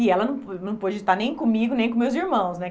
E ela não não pôde estar nem comigo, nem com meus irmãos, né?